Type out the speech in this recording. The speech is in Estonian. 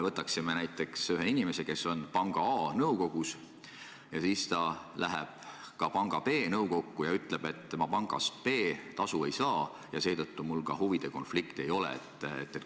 Võtame näiteks ühe inimese, kes on panga A nõukogus ja läheb siis ka panga B nõukokku ja ütleb, et kuna ta pangast B tasu ei saa, siis tal huvide konflikti ei ole.